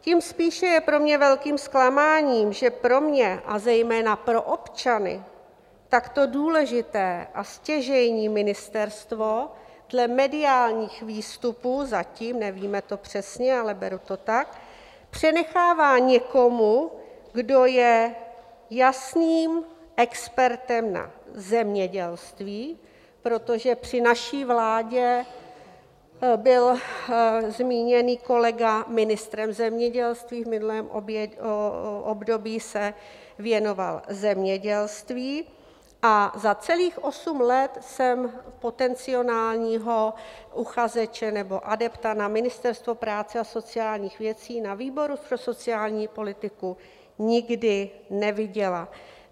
Tím spíše je pro mě velkým zklamáním, že pro mě, a zejména pro občany takto důležité a stěžejní ministerstvo dle mediálních výstupů zatím, nevíme to přesně, ale beru to tak, přenechává někomu, kdo je jasným expertem na zemědělství, protože při naší vládě byl zmíněný kolega ministrem zemědělství, v minulém období se věnoval zemědělství a za celých osm let jsem potenciálního uchazeče nebo adepta na Ministerstvo práce a sociálních věcí na výboru pro sociální politiku nikdy neviděla.